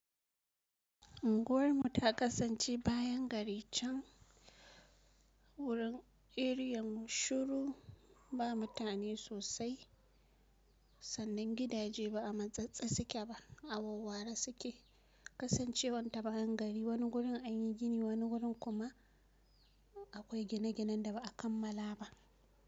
Unguwarmu ta kasance bayan gari can, wurin eriyan mu shuru, ba mutane sosai sannan gidaje ba a matsatse suke ba a wawware suke, kasancewan ta bayan gari wani gurin an yi gini wani gurin kuma akwai gine-ginen da ba a kammala ba.